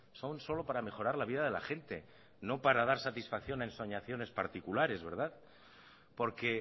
son solo para mejorar la vida de la gente no para dar satisfacción a ensoñaciones particulares porque